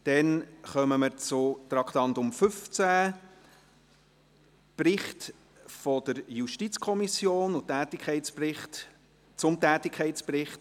Dann kommen wir zu Traktandum 15, dem Bericht der JuKo zum Tätigkeitsbericht der Gerichtsbehörden und der Staatsanwaltschaft.